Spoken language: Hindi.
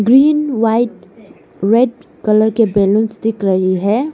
ग्रीन व्हाइट रेड कलर के बैलुंस दिख रही है।